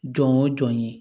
Jɔn o jɔn ye